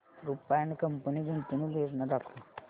Rupa and company गुंतवणूक योजना दाखव